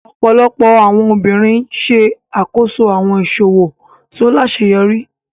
Ọpọlọpọ awọn obirin ṣe akoso awọn iṣowo to laṣeyọri.